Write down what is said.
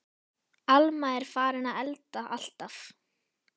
Alma er farin að elda alltaf.